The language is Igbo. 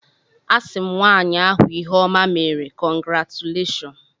A sị m nwaanyị ahụ ihe ọma meere, kọngratuleshọn.